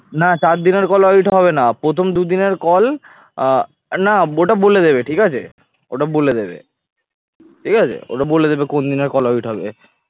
না চার দিনের call audit হবেনা প্রথম দুদিনের call আহ না ওটা বলে দেবে ঠিক আছে ওটা বলে দেবে ঠিক আছে ওটা বলে দেবে কোন দিনের call audit হবে